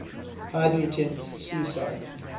heidi attempts suicide